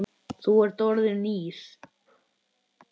Þú ert orðinn Ís